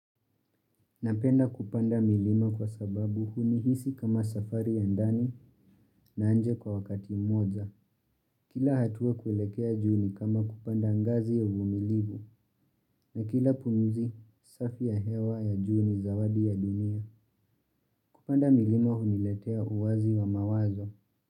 Napenda kupanda milima kwa sababu hunihisi kama safari ya ndani na nje kwa wakati mmoja. Kila hatua kuelekea juu ni kama kupanda ngazi ya uvumilivu na kila pumzi safi ya hewa ya juu ni zawadi ya dunia. Kupanda milima huniletea uwazi wa mawazo.